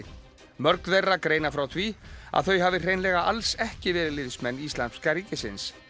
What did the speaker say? mörg þeirra greina frá því að þau hafi hreinlega alls ekki verið liðsmenn Íslamska ríkisins